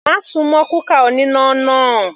Má súnmọ́ kúkà oníná náà.